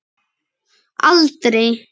Utan vallar: aldrei.